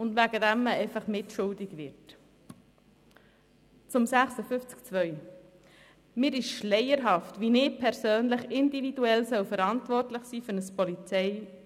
Zu Artikel 56 Absatz 2: Es ist mir schleierhaft, wie ich persönlich für ein Polizeiaufgebot verantwortlich sein soll.